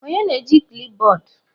Onye na-eji klipbọọdụ?